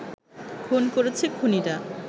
খুন করেছে খুনিরা